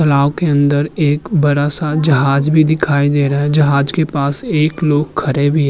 तालाव के अंदर एक बड़ा-सा जहाज भी दिखाई दे रहा है। जहाज के पास एक लोग खड़े भी --